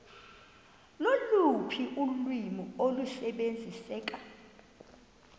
loluphi ulwimi olusebenziseka